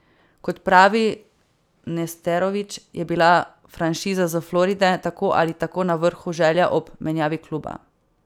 Kot pravi Nesterović, je bila franšiza s Floride tako ali tako na vrhu želja ob menjavi kluba.